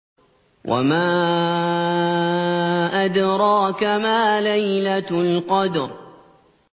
وَمَا أَدْرَاكَ مَا لَيْلَةُ الْقَدْرِ